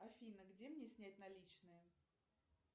афина где мне снять наличные